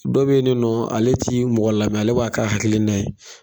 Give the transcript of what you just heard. Dɔ bɛ yen nɔ ale ti mɔgɔ lamɛn ale b'a k'a hakiliina ye